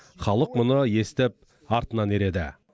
халық мұны естіп артынан ереді